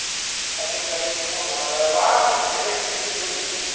Lá tem um garimpo bom, lá... Lá você vê a pepita de ouro em cima.